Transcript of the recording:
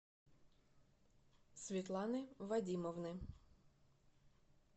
светланы вадимовны